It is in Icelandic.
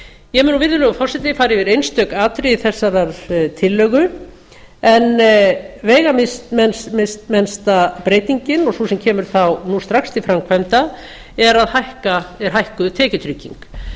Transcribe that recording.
ég mun nú virðulegi forseti fara yfir einstök atriði þessarar tillögu en veigamesta breytingin og sú sem kemur þá núna strax til framkvæmd er hækkuð tekjutrygging